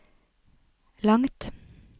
langt